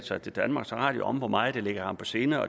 sig til danmarks radio om hvor meget det lå ham på sinde og